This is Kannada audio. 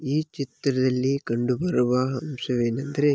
ಈ ಚಿತ್ರದಲ್ಲಿ ಕಂಡು ಬರುವ ಅಂಶವೇನೆಂದರೆ --